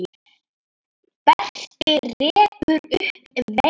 Berti rekur upp vein.